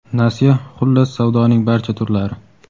nasiya - xullas savdoning barcha turlari!.